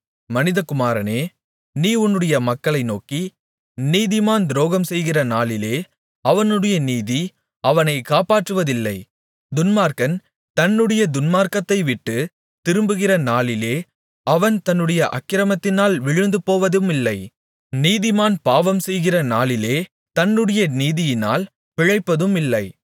மனிதகுமாரனே நீ உன்னுடைய மக்களை நோக்கி நீதிமான் துரோகம்செய்கிற நாளிலே அவனுடைய நீதி அவனைக் காப்பாற்றுவதில்லை துன்மார்க்கன் தன்னுடைய துன்மார்க்கத்தைவிட்டுத் திரும்புகிற நாளிலே அவன் தன்னுடைய அக்கிரமத்தினால் விழுந்து போவதுமில்லை நீதிமான் பாவம்செய்கிற நாளிலே தன்னுடைய நீதியினால் பிழைப்பதுமில்லை